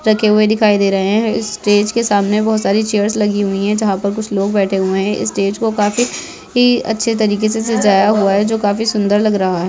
रखे हुए दिखाई दे रहे है इस स्टेज के सामने बोहोत सारी चेयर्स लगी हुई है जहाँ पर कुछ लोग बैठे हुए है इस स्टेज को काफी ही अच्छे तरीके से सजाया हुआ है जो काफी सुंदर लग रहा है।